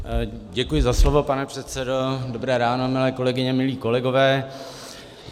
Děkuji za slovo, pane předsedo, dobré ráno, milé kolegyně, milí kolegové.